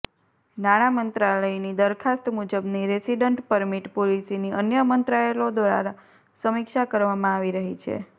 નાણામંત્રાલયની દરખાસ્ત મુજબની resident permit પોલિસીની અન્ય મંત્રાલયો દ્વારા સમીક્ષા કરવામાં આવી રહી છે